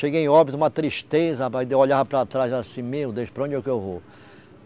Cheguei em Óbidos, uma tristeza rapaz, daí eu olhava para trás assim, meu Deus, para onde é que eu vou?